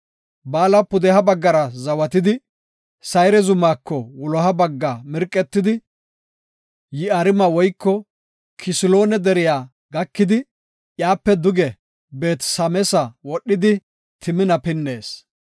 Baala pudeha baggara zawaydi, Sayre zumako wuloha bagga mirqetidi, Yi7aarime woyko Kisaloone deriya gakidi, iyape duge Beet-Sameesa wodhidi, Timina pinnees.